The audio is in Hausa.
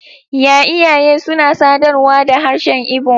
Y iyaye suna sadarwa da harshen Igbo.